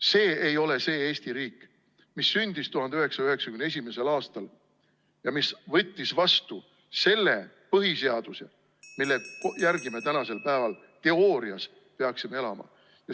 See ei ole see Eesti riik, mis sündis 1991. aastal ja mis võttis vastu selle põhiseaduse, mille järgi me tänasel päeval – teoorias – peaksime elama.